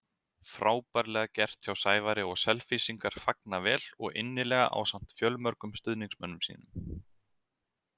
Frábærlega gert hjá Sævari og Selfyssingar fagna vel og innilega ásamt fjölmörgum stuðningsmönnum sínum.